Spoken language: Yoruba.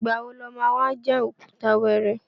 Ìgbà wo lo má wá já òkúta wẹ́ẹ́rẹ́?